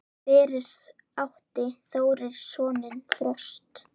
Fyrir átti Þórir soninn Þröst.